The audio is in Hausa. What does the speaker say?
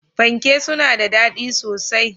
Fanke suna da daɗi sosai.